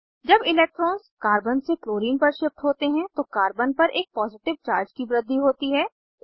जब electrons carbon से chlorine पर शिफ्ट होते हैं तो कार्बन पर एक पॉजिटिव चार्ज की वृद्धि होती है